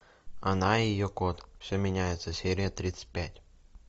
она и ее кот все меняется серия тридцать пять